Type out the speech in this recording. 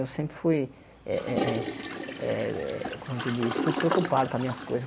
Eu sempre fui eh eh eh eh eh como é que diz fui preocupado com as minhas coisas.